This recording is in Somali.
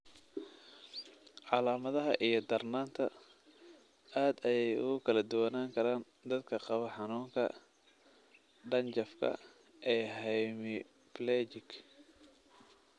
Calaamadaha iyo darnaanta aad ayey ugu kala duwanaan karaan dadka qaba xanuunka dhanjafka ee hemiplegic.